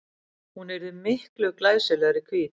Hún yrði miklu glæsilegri hvít.